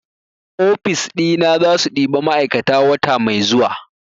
ofis ina zasu ɗiba ma'aikata wata mai zuwa